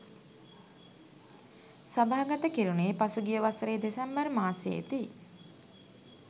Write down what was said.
සභාගත කෙරුණේ පසුගිය වසරේ දෙසැම්බර් මාසයේ දී